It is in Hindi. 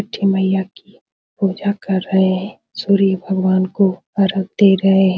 छठी मइया की पूजा कर रहे है सूर्य भगवान को अर्घ दे रहे --